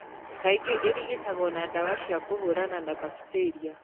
Kaingĩ ĩrigitagwo na ndawa cia kũhũrana na mbakitĩria.